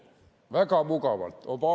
Väga mugavalt!